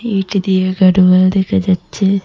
এইটি দিয়ে গাডওয়াল দেখা যাচ্ছে।